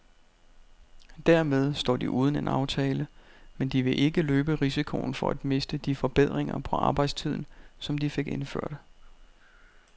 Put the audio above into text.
Dermed står de uden en aftale, men de vil ikke løbe risikoen for at miste de forbedringer på arbejdstiden, som de fik indført.